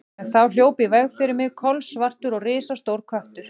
En þá hljóp í veg fyrir mig kolsvartur og risastór köttur.